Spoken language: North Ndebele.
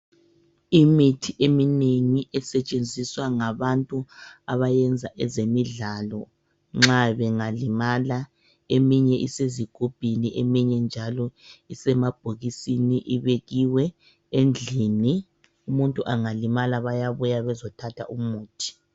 Imithi eminengi esetshenziswa ngabantu abayenza ezemidlalo nxa bengalimala . Eminye isezigubhini eminye njalo isemabhokisini ibekiwe endlini . Umuntu angalimala bayabuya bezothatha umuthi .